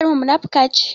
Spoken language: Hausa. Maƙociyar mu munafuka ce